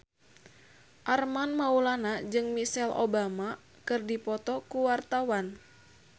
Armand Maulana jeung Michelle Obama keur dipoto ku wartawan